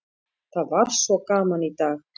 Það var svo gaman í dag!